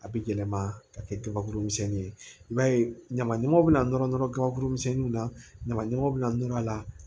A bɛ yɛlɛma ka kɛ kabakuru misɛnnin ye i b'a ye ɲaman ɲamanw bɛna nɔrɔ nɔrɔ kabakuru misɛnninw na ɲaman ɲamanw bɛna nɔrɔ a la